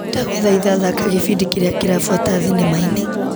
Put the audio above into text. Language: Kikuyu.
Ndagũthaitha thaka gĩbindi kĩrĩa kĩrabuata thinema-inĩ .